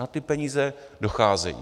A ty peníze docházejí.